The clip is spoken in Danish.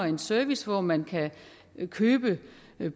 en service hvor man kan købe